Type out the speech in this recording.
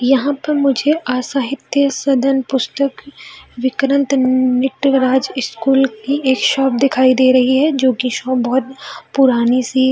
यहाँ पर मुझे आसाहित्य सदन पुस्तक विक्रत निटराज स्कूल की एक शॉप दिखाई दे रही है जो कि शॉप बहुत पुरानी सी --